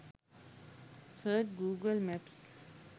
search google maps